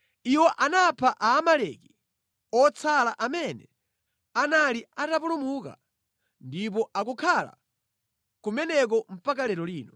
Iwo anapha Aamaleki otsala amene anali atapulumuka ndipo akukhala kumeneko mpaka lero lino.